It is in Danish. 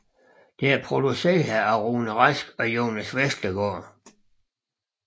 Det er produceret af Rune Rask og Jonas Vestergaard